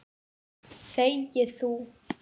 Þegi þú!